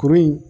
Kuru in